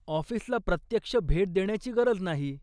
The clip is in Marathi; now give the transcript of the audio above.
ऑफिसला प्रत्यक्ष भेट देण्याची गरज नाही.